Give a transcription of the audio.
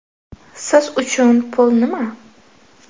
Siz uchun pul nima?